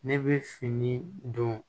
Ne bɛ fini don